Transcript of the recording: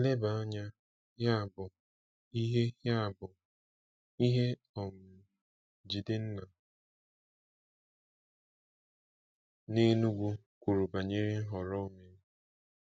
Leba anya, yabụ, ihe yabụ, ihe um Jidenna na Enugu kwuru banyere nhọrọ o mere.